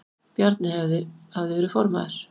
Bjarni hafði verið formaður